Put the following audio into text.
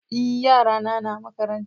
é yara na na makaranta